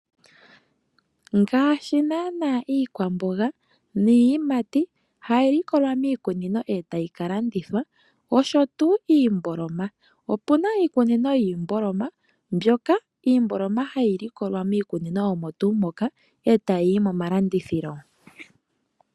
Ngaashi naana iikwamboga niiyimati hayi likolwa miikunino e tayi ka landithwa, osho tuu iimboloma. Opuna iikunino yiimboloma mbyoka iimboloma hayi likolwa miikunino omo tuu moka, e tayi yi momalandithilo.